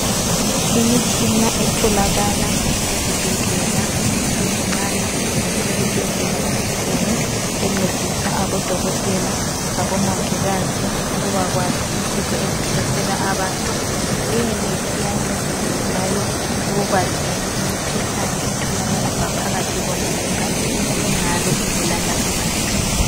Imitshina etholakala ezibhedlela ezincane kumbe ezibhedlela ezinkulu encedisa odokotela labomongikazi ukubakwazi izifo ezihlasela abantu. Leyimitshina iyancedisa njalo ekwazini imikhuhlane etholakala ngaphakathi komzimba engabe ibulala abantu